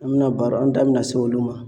An bɛna baro an da bɛna se olu ma.